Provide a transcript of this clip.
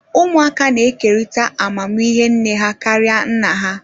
Ụmụaka na-ekerịta amamihe nne ha karịa nna ha